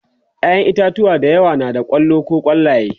ƴaƴan itatauwa da yawa na da kwallo koh kwallaye